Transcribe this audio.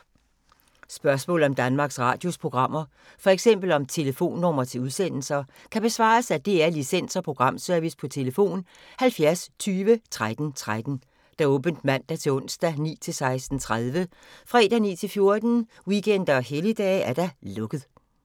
Spørgsmål om Danmarks Radios programmer, f.eks. om telefonnumre til udsendelser, kan besvares af DR Licens- og Programservice: tlf. 70 20 13 13, åbent mandag-torsdag 9.00-16.30, fredag 9.00-14.00, weekender og helligdage: lukket.